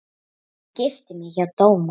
Ég gifti mig hjá dómara.